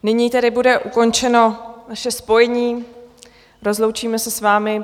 Nyní tedy bude ukončeno naše spojení, rozloučíme se s vámi.